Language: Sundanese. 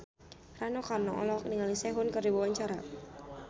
Rano Karno olohok ningali Sehun keur diwawancara